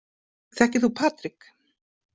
Þekkir þú Patrik?